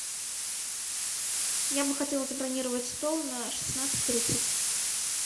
я бы хотела забронировать стол на шестнадцать тридцать